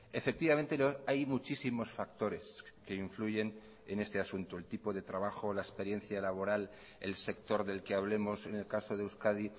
efectivamente hay muchísimos factores que influyen en este asunto el tipo de trabajo la experiencia laboral el sector del que hablemos en el caso de euskadi